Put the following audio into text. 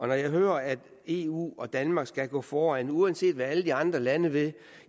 jeg hører at eu og danmark skal gå foran uanset hvad alle de andre lande vil